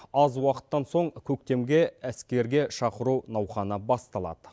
аз уақыттан соң көктемге әскерге шақыру науқаны басталады